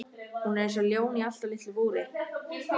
Hún er eins og ljón í allt of litlu búri!